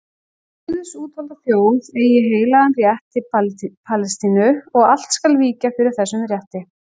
Guðs útvalda þjóð eigi heilagan rétt til Palestínu og allt skal víkja fyrir þessum rétti.